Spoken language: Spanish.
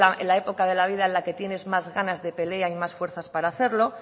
en la época en la vida en la que tienes más ganas de pelea y más fuerzas para hacerlo